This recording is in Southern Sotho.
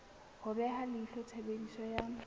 ho beha leihlo tshebediso ya